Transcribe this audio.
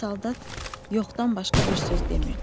Saldat "yox"dan başqa bir söz demirdi.